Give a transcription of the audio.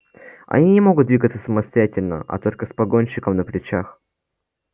они не могут двигаться самостоятельно а только с погонщиком на плечах